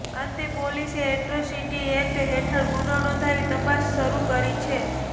અંતે પોલીસે atrocity act હેઠળ ગુનો નોંધી તપાસ શરૂ કરી છે